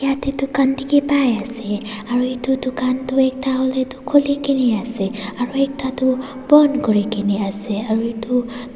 yatae dukan dikhipaiase aru edu dukan tu ekta hoilae tu khulikae naase aro ekta tu bon kurikaena ase aro edu.